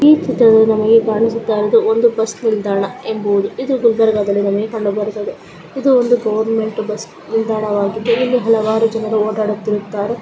ಈ ಚಿತ್ರದಲ್ಲಿ ನಮಗೆ ಕಾಣಿಸುತ್ತಾಯಿರುವುದು ಒಂದು ಬಸ್ ನಿಲ್ದಾನ ಎಂಬುದು ಇದು ಗುಲ್ಬರ್ಗ ದಲ್ಲಿ ಕಂಡ ಬರುತ್ತದೆ ಇದು ಒಂದು ಗೌರ್ಮೆಂಟ್ ಬಸ್ ನಿಲ್ದಾಣ ವಾಗಿದೆ ಇಲ್ಲಿ ಹಲವಾರು ಜನ ಓಡಾಡುತ್ತಿರುತ್ತಾರೆ.